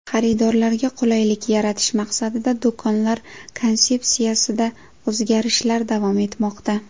Xaridorlarga qulaylik yaratish maqsadida do‘konlar konsepsiyasida o‘zgarishlar davom etmoqda.